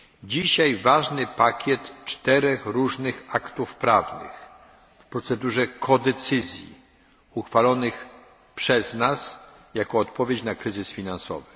Dzisiaj ważny pakiet czterech różnych aktów prawnych w procedurze współdecyzji uchwalonych przez nas jako odpowiedź na kryzys finansowy.